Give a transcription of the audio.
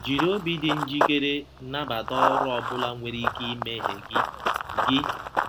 Jiri obi dị njikere nabata ọrụ ọ bụla nwere ike imeghe gị. gị.